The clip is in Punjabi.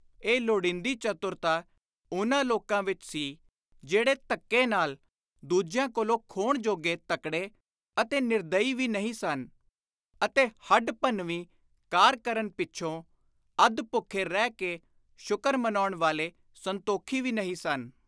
ਇਹ ਲੋੜੀਂਦੀ ਚਤੁਰਤਾ ਉਨ੍ਹਾਂ ਲੋਕਾਂ ਵਿਚ ਸੀ ਜਿਹੜੇ ਧੱਕੇ ਨਾਲ ਦੁਜਿਆਂ ਕੋਲੋਂ ਖੋਹਣ ਜੋਗੇ ਤਕੜੇ ਅਤੇ ਨਿਰਦਈ ਵੀ ਨਹੀਂ ਸਨ ਅਤੇ ਹੱਡ-ਭੰਨਵੀਂ ਕਾਰ ਕਰਨ ਪਿੱਛੋਂ ਅੱਧ-ਭੁੱਖੇ ਰਹਿ ਕੇ ਸ਼ੁਕਰ ਮਨਾਉਣ ਵਾਲੇ ਸੰਤੋਖੀ ਵੀ ਨਹੀਂ ਸਨ।